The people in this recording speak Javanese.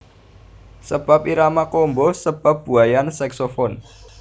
Sebab irama combo sebab buaian saxophone